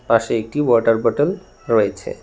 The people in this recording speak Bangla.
পাশে একটি ওয়াটার বোটল রয়েছে।